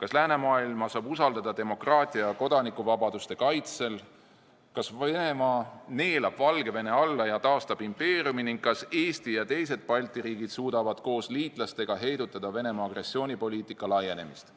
kas läänemaailma saab usaldada demokraatia ja kodanikuvabaduste kaitsel, kas Venemaa neelab Valgevene alla ja taastab impeeriumi ning kas Eesti ja teised Balti riigid suudavad koos liitlastega heidutada Venemaa agressioonipoliitika laienemist.